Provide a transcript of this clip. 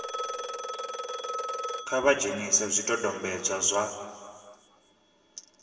kha vha dzhenise zwidodombedzwa zwa